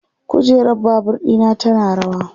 kujerar Babur ɗina tana rawa